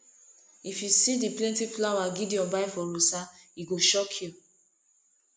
if you see the plenty flower gideon buy for rosa e go shock you